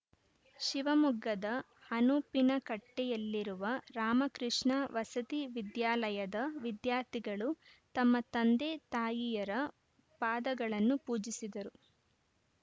ಶಿವಮೊಗ್ಗದ ಅನುಪಿನಕಟ್ಟೆಯಲ್ಲಿರುವ ರಾಮಕೃಷ್ಣ ವಸತಿ ವಿದ್ಯಾಲಯದ ವಿದ್ಯಾರ್ಥಿಗಳು ತಮ್ಮ ತಂದೆ ತಾಯಿಯರ ಪಾದಗಳನ್ನು ಪೂಜಿಸಿದರು